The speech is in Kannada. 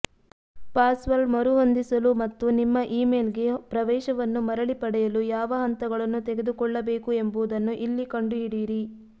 ಪಾಸ್ವರ್ಡ್ ಮರುಹೊಂದಿಸಲು ಮತ್ತು ನಿಮ್ಮ ಇಮೇಲ್ಗೆ ಪ್ರವೇಶವನ್ನು ಮರಳಿ ಪಡೆಯಲು ಯಾವ ಹಂತಗಳನ್ನು ತೆಗೆದುಕೊಳ್ಳಬೇಕು ಎಂಬುದನ್ನು ಇಲ್ಲಿ ಕಂಡುಹಿಡಿಯಿರಿ